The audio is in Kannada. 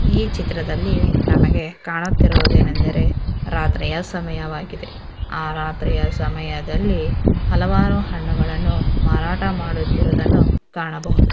ಈ ಚಿತ್ರದಲ್ಲಿ ನಮಗೆ ಕಾಣುತ್ತಿರುವುದೇನೆಂದರೆ ರಾತ್ರಿಯ ಸಮಯವಾಗಿದೆ ಆ ರಾತ್ರಿಯ ಸಮಯದಲ್ಲಿ ಹಲವಾರು ಹಣ್ಣುಗಳನ್ನು ಮಾರಾಟ ಮಾಡುತ್ತಿರುವುದನ್ನು ಕಾಣಬಹುದು.